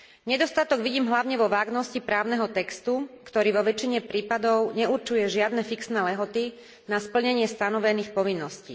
Nedostatok vidím hlavne vo vágnosti právneho textu, ktorý vo väčšine prípadov neurčuje žiadne fixné lehoty na splnenie stanovených povinností.